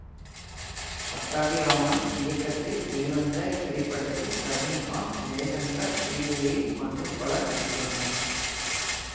பட்டாபிராமன் இயக்கத்தில் வெளிவந்த இத்திரைப்படத்தில் ரஜினி காந்த் ஜெய்சங்கர் ஸ்ரீதேவி மற்றும் பலர் நடித்துள்ளனர்